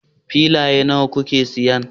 Filaye nawa kuke siyan